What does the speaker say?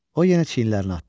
O yenə çiyinlərini atdı.